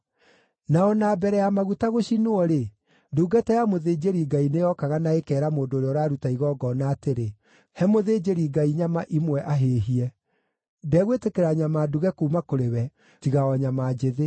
Na o na mbere ya maguta gũcinwo-rĩ, ndungata ya mũthĩnjĩri-Ngai nĩyokaga na ĩkeera mũndũ ũrĩa ũraruta igongona atĩrĩ, “He mũthĩnjĩri-Ngai nyama imwe ahĩĩhie; ndegwĩtĩkĩra nyama nduge kuuma kũrĩ we, tiga o nyama njĩthĩ.”